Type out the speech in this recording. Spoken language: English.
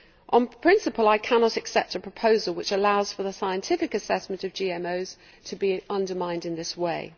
On principle, I cannot accept a proposal which allows for the scientific assessment of GMOs to be undermined in this way.